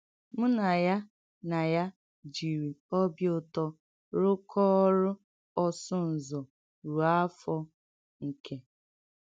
Mụ̀ na ya na ya jìrì ọ̀bị ụ̀tọ́ rụkọọ́ ọrụ́ ọ́sụ̀ ǹzọ̀ rùò áfọ́ ǹkè.